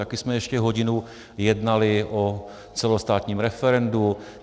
Taky jsme ještě hodinu jednali o celostátním referendu.